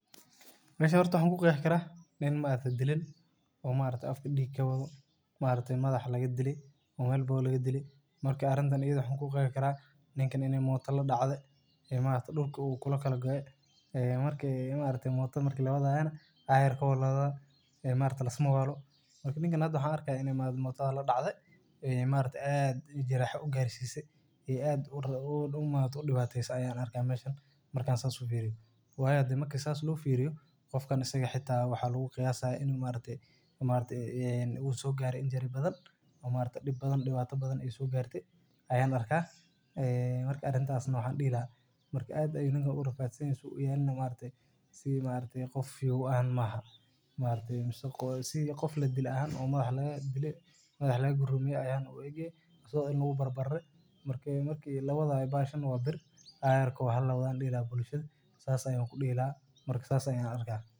meshan horta waxaa kuqeeexi karaa nin ma aragte dhilan o ma aragte afka dhig kawado ma aragte madaxa laga dhile o sixun loo dhile marka arrintan ayada eh waxa kuqeexi karaa ninkan ini moota la dhacde ee ma aragte dhulka oo kula kala goe ee ma aragte marki moota lawadaayo nah aayarko aya lawadaa ee maaragte lisma waalo ninkan hada waxaa arka in motadadaa ladhacde ee ma aragte aad jiraaxa ugaarte ee aad motada udhibateese waayo marki saas loo firiyo qofkan asaga ehe wxaa lagu qiyasaya in ma aragte uu sogaare injury badan oo ma aragte dhib badan ay sogaarte ayaan arkaa marka waxaa dhihi laha ninka aad ayuu u rafadsanyehe suu uyaale nah sidi qof fiyow maahan sidi qof ladile oo madax lagadile camal ayaa uu egyehe marki lawadayo nah bahashaan waa bir ayarko halawado ayaan kudihi lahaa bulshada marka saas ayaa diihi lahaa.